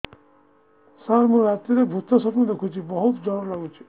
ସାର ମୁ ରାତିରେ ଭୁତ ସ୍ୱପ୍ନ ଦେଖୁଚି ବହୁତ ଡର ଲାଗୁଚି